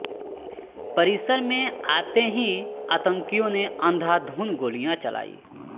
परिसर में आते ही आतंकियों ने अंधाधुंध गोलियां चलाईं